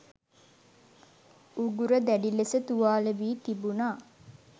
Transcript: උගුර දැඩි ලෙස තුවාලවී තිබුණා